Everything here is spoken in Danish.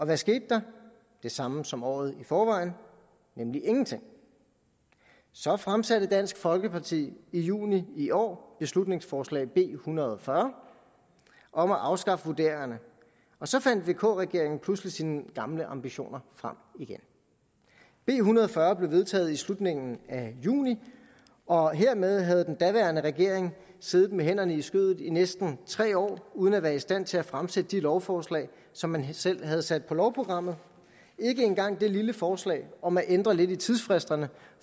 hvad skete der det samme som året i forvejen nemlig ingenting så fremsatte dansk folkeparti i juni i år beslutningsforslag b en hundrede og fyrre om at afskaffe vurderingerne og så fandt vk regeringen pludselig sine gamle ambitioner frem igen b en hundrede og fyrre blev vedtaget i slutningen af juni og hermed havde den daværende regering siddet med hænderne i skødet i næsten tre år uden at være i stand til at fremsætte det lovforslag som man selv havde sat på lovprogrammet ikke engang det lille forslag om at ændre lidt i tidsfristerne